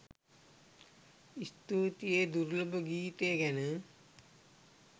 ස්තූතියි ඒ දුර්ලභ ගීතය ගැන